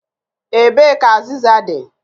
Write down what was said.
Ebee ka azịza dị?